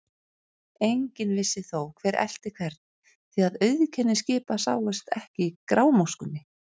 Enginn vissi þó, hver elti hvern, því að auðkenni skipa sáust ekki í grámóskunni.